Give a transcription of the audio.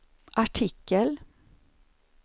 artikel